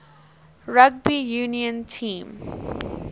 rugby union team